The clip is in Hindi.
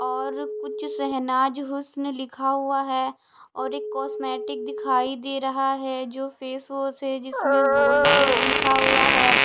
और कुछ शहनाज हुस्न लिखा हुआ है और एक कॉस्मेटिक दिखाई दे रहा है जो फेस वॉश है जिसमें गोल्ड प्लस लिखा हुआ है।